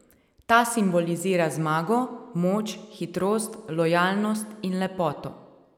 Ta simbolizira zmago, moč, hitrost, lojalnost in lepoto.